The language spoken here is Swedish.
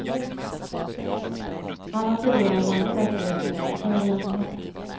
Han har tidigare varit säkerhetsinspektör i armén.